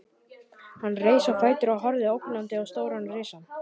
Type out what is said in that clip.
Hann reis á fætur og horfði ógnandi á stóran risann.